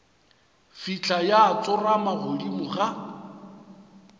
fihla ya tsorama godimo ga